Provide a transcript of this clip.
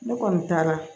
Ne kɔni taara